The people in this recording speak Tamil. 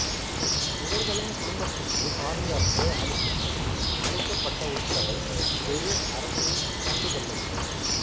இவர்களின் குடும்பத்துக்கு பாதுகாப்புஅளிக்கும்படி அளிக்கப்பட்ட உத்தரவை பெரு அரசு கண்டுகொள்ளவில்லை